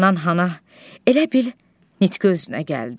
Handan-hana elə bil nitqi özünə gəldi.